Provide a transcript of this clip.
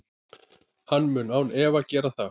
Hann mun án efa gera það.